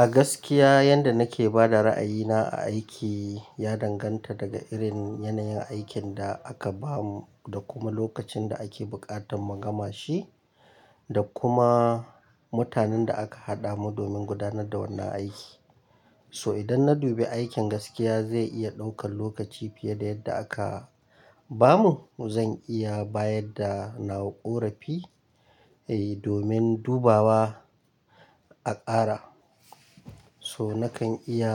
A gaskiya yadda nake ba da ra'ayina a aiki ya danganta daga irin yanayin aikin da aka ba mu da kuma lokacin da ake buƙatar mu gama shi da kuma mutanen da aka haɗa mu domin gudanar da wannan aiki. So idan na dube aikin gaskiya zai iya ɗaukan lokaci fiye da yadda aka ba mu, zan iya bayar da nawa ƙorafi, eh domin dubawa a ƙara. So nakan iya